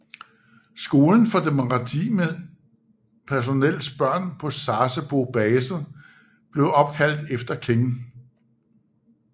Skolen for det maritime personels børn på Sasebo basenb blev opkaldt efter King